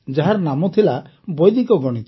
ଯାହାର ନାମ ଥିଲା ବୈଦିକ ଗଣିତ